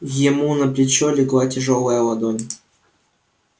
ему на плечо легла тяжёлая ладонь